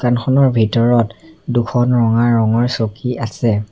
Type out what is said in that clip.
দোকানখনৰ ভিতৰত দুখন ৰঙা ৰঙৰ চকী আছে।